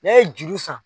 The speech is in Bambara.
N'a ye juru san